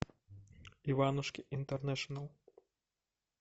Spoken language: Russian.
иванушки интернешнл